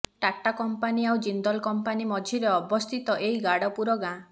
Tata company ଆଉ Jindal company ମଝିରେ ଅବସ୍ଥିତ ଏହି ଗାଡପୁର ଗାଁ